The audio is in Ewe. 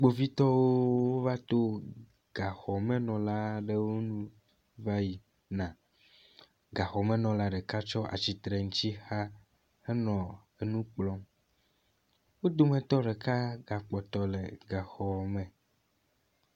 Kpovitɔwo wovató gaxɔmenɔlaɖewo ŋu vayina, gaxɔmenɔla ɖeka tso atsitsreŋutsixa henɔ enu kplɔm, wó dometɔ ɖeka ga kpɔtɔ le gaxɔme